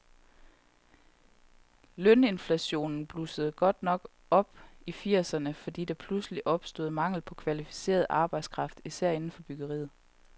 Løninflationen blussede godt nok op i firserne, fordi der pludselig opstod mangel på kvalificeret arbejdskraft, især inden for byggeriet.